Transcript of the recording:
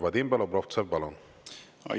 Vadim Belobrovtsev, palun!